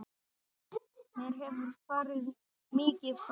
Mér hefur farið mikið fram.